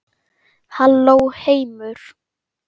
Halló heimur!